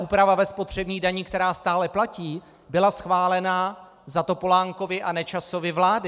Úprava ve spotřební dani, která stále platí, byla schválena za Topolánkovy a Nečasovy vlády.